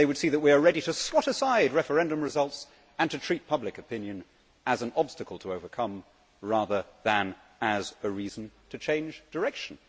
They would see that we are ready to swat aside referendum results and to treat public opinion as an obstacle to overcome, rather than as a reason to change direction.